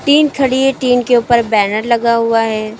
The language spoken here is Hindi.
टीन खड़ी है टीन के ऊपर बैनर लगा हुआ है।